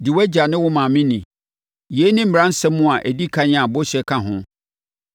“Di wʼagya ne wo maame ni,” yei ne mmaransɛm a ɛdi ɛkan a bɔhyɛ ka ho,